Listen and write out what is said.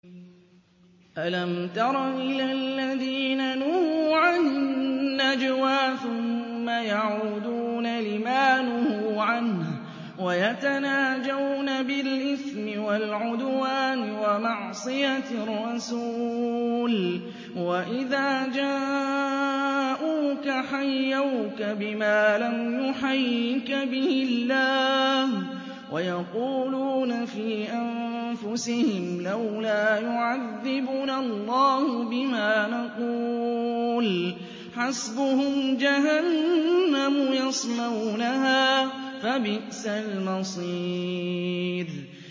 أَلَمْ تَرَ إِلَى الَّذِينَ نُهُوا عَنِ النَّجْوَىٰ ثُمَّ يَعُودُونَ لِمَا نُهُوا عَنْهُ وَيَتَنَاجَوْنَ بِالْإِثْمِ وَالْعُدْوَانِ وَمَعْصِيَتِ الرَّسُولِ وَإِذَا جَاءُوكَ حَيَّوْكَ بِمَا لَمْ يُحَيِّكَ بِهِ اللَّهُ وَيَقُولُونَ فِي أَنفُسِهِمْ لَوْلَا يُعَذِّبُنَا اللَّهُ بِمَا نَقُولُ ۚ حَسْبُهُمْ جَهَنَّمُ يَصْلَوْنَهَا ۖ فَبِئْسَ الْمَصِيرُ